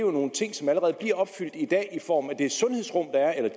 om nogle ting som allerede bliver opfyldt i dag i form af